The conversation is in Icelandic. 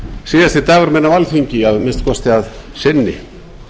síðasti dagurinn minn á alþingi að minnsta kosti að sinni